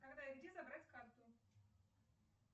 когда и где забрать карту